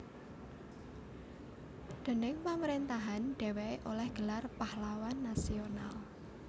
Déning pamrentahan dheweke oleh gelar Pahlawan Nasional